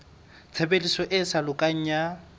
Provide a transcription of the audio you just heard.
tshebediso e sa lokang ya